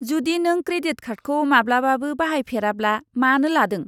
जुदि नों क्रेडिट कार्डखौ माब्लाबाबो बाहायफेराब्ला मानो लादों?